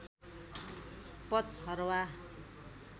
पचहर्वा